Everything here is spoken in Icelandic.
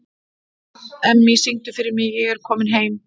Emmý, syngdu fyrir mig „Ég er kominn heim“.